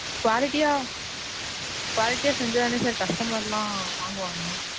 quality யா quality யா செஞ்சாதானே sir customer லாம் வாங்குவாங்க.